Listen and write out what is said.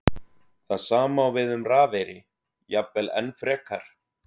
Það sama á við um rafeyri, jafnvel enn frekar.